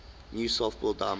new softball diamond